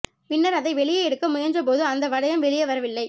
பின்னர் அதை வெளியே எடுக்க முயன்றபோது அந்த வளையம் வெளியே வரவில்லை